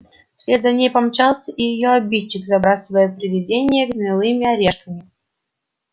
вслед за ней помчался и её обидчик забрасывая привидение гнилыми орешками